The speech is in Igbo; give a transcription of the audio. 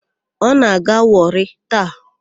Ọ na-aga Wọrị taa?